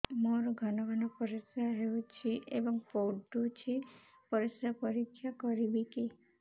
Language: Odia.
ମୋର ଘନ ଘନ ପରିସ୍ରା ହେଉଛି ଏବଂ ପଡ଼ୁଛି ପରିସ୍ରା ପରୀକ୍ଷା କରିବିକି